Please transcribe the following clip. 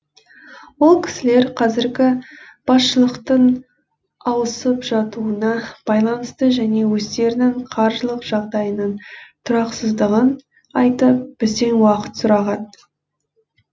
ол кісілер қазіргі басшылықтың ауысып жатуына байланысты және өздерінің қаржылық жағдайының тұрақсыздығын айтып бізден уақыт сұраған